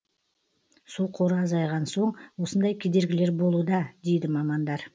су қоры азайған соң осындай кедергілер болуда дейді мамандар